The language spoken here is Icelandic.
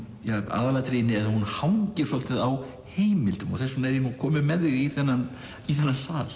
aðalatriðið í að hún hangir dálítið á heimildum og þess vegna er ég nú komin með þig í þennan í þennan sal